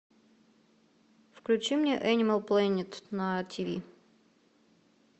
включи мне энимал плэнет на тиви